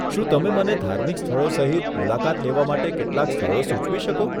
શું તમે મને ધાર્મિક સ્થળો સહિત મુલાકાત લેવા માટે કેટલાક સ્થળો સૂચવો છો?